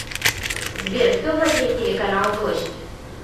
сбер кто владеет телеканал дождь